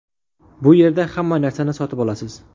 Bu yerda hamma narsani sotib olasiz.